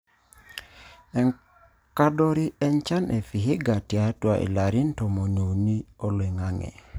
Enkadori enchan e Vihiga tiatua ilarin tomoniuni oloing'ang'e.